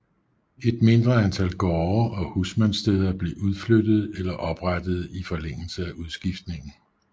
Et mindre antal gårde og husmandssteder blev udflyttede eller oprettede i forlængelse af udskiftningen